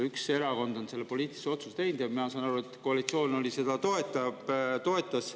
Üks erakond on selle poliitilise otsuse teinud ja mina saan aru, et koalitsioon seda toetas.